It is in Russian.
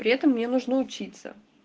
при этом мне нужно учиться